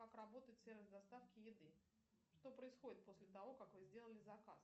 как работает сервис доставки еды что происходит после того как вы сделали заказ